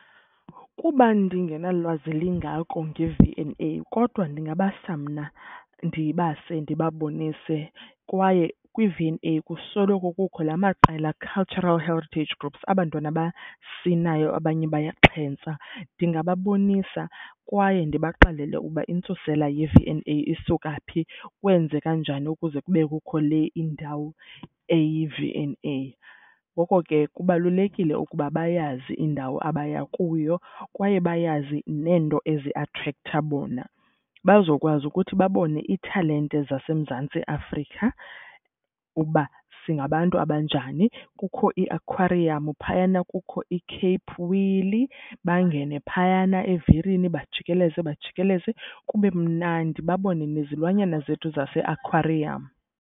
Kuba ndingenalwazi lingako ngeV and A kodwa ndingabasa mna, ndibase ndibabonise. Kwaye kwiV and A kusoloko kukho laa maqela, cultural heritage groups, aba 'ntwana basinayo abanye bayaxhentsa. Ndingababonisa kwaye ndibaxelele ukuba intsusela yeV and A isuka phi, kwenzeka njani ukuze kube kukho le indawo eyiV and A. Ngoko ke kubalulekile ukuba bayazi indawo abaya kuyo kwaye bayazi neento eziatrektha bona bazokwazi ukuthi babone ithalente zaseMzantsi Afrika, ukuba singabantu abanjani. Kukho iiakhwariyamu phayana, kukho iCape Wheel, bangene phayana evirini bajikeleze bajikeleze, kube mnandi babone nezilwanyana zethu zaseakhwariyamu.